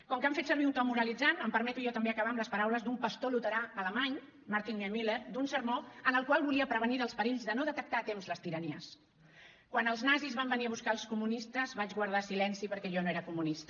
com que han fet servir un to moralitzant em permeto jo també acabar amb les paraules d’un pastor luterà alemany martin niemöller d’un sermó en el qual volia prevenir dels perills de no detectar a temps les tiranies quan els nazis van venir a buscar els comunistes vaig guardar silenci perquè jo no era comunista